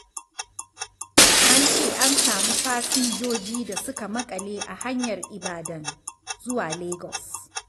An ce an samu fasinjoji da suka maƙale a hanyar Ibadan zuwa Lagos.